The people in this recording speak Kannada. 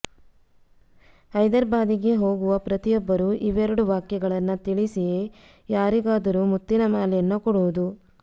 ಹೈದರಾಬಾದಿಗೆ ಹೋಗುವ ಪ್ರತಿಯೊಬ್ಬರು ಇವೆರಡು ವಾಕ್ಯಗಳನ್ನ ತಿಳಿಸಿಯೇ ಯಾರಿಗಾದರೂ ಮುತ್ತಿನ ಮಾಲೆಯನ್ನ ಕೊಡುವುದು